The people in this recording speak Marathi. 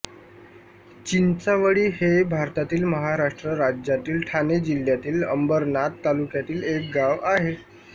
चिंचावळी हे भारतातील महाराष्ट्र राज्यातील ठाणे जिल्ह्यातील अंबरनाथ तालुक्यातील एक गाव आहे